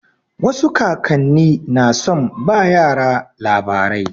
Wasu kakan ni na son ba yara labarai.